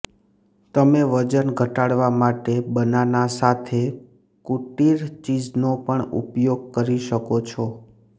તમે વજન ઘટાડવા માટે બનાના સાથે કુટીર ચીઝનો પણ ઉપયોગ કરી શકો છો